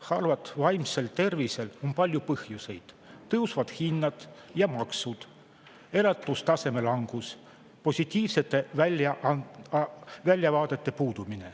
Halval vaimsel tervisel on palju põhjuseid: tõusvad hinnad ja maksud, elatustaseme langus ning positiivsete väljavaadete puudumine.